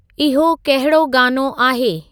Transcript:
इहो कहिड़ो गानो आहे